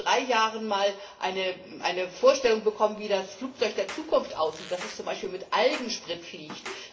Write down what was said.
Ich habe vor drei Jahren einmal eine Vorstellung davon bekommen, wie das Flugzeug der Zukunft aussieht, dass es zum Beispiel mit Algensprit fliegt.